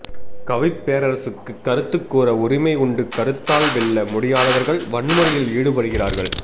கவிப் பேரரசுக்குக் கருத்துக் கூற உரிமை உண்டு கருத்தால் வெல்ல முடியாதவர்கள் வன்முறையில் ஈடுபடுகிறார்கள்